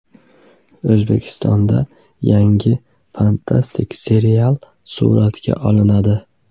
O‘zbekistonda yangi fantastik serial suratga olinadi.